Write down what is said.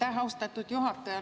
Aitäh, austatud juhataja!